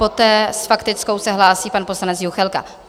Poté s faktickou se hlásí pan poslanec Juchelka.